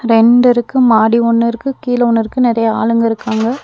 ரெண்டடுக்கு மாடி ஒன்னு இருக்கு கீழ ஒன்னு இருக்கு நெறையா ஆளுங்க இருக்காங்க.